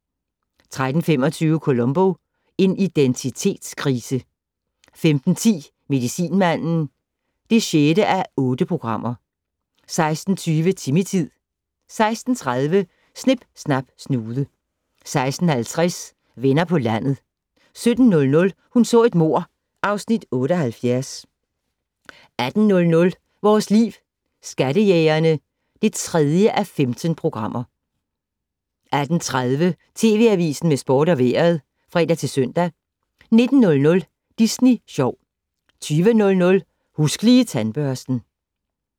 13:25: Columbo: En identitetskrise 15:10: Medicinmanden (6:8) 16:20: Timmy-tid 16:30: Snip Snap Snude 16:50: Venner på landet 17:00: Hun så et mord (Afs. 78) 18:00: Vores Liv: Skattejægerne (3:15) 18:30: TV Avisen med sport og vejret (fre-søn) 19:00: Disney Sjov 20:00: Husk Lige Tandbørsten